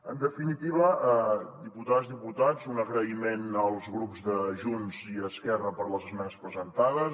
en definitiva diputades diputats un agraïment als grups de junts i esquerra per les esmenes presentades